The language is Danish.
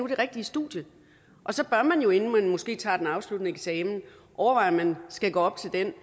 det rigtige studie og så bør man jo inden man måske tager den afsluttende eksamen overveje om man skal gå op til den